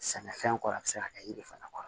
Sɛnɛfɛn kɔrɔ a bɛ se ka kɛ yiri fana kɔrɔ